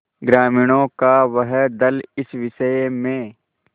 ग्रामीणों का वह दल इस विषय में